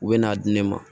U bɛ n'a di ne ma